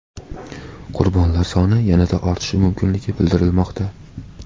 Qurbonlar soni yanada ortishi mumkinligi bildirilmoqda.